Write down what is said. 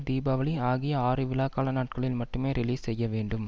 தீபாவளி ஆகிய ஆறு விழாக்கால நாட்களில் மட்டுமே ரிலீஸ் செய்ய வேண்டும்